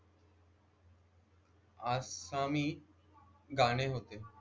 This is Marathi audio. आसामी गाणे होते